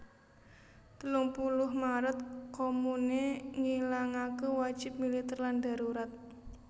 Telung puluh Maret Komune ngilangaké wajib militèr lan darurat